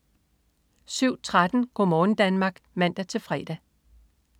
07.13 Go' morgen Danmark (man-fre)